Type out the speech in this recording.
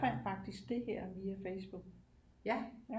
Jeg fandt faktisk det her via Facebook